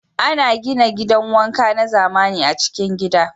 Ana gina gidan wanka na zamani a'cikin gidan.